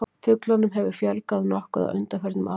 Fuglunum hefur fjölgað nokkuð á undanförnum árum.